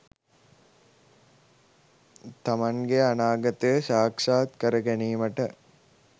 තමන්ගේ අනාගතය සාක්ෂාත් කර ගැනීමට